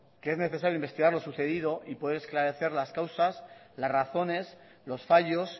que es necesario investigar lo sucedido y poder esclarecer las causas las razones los fallos